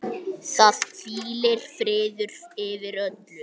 Það hvílir friður yfir öllu.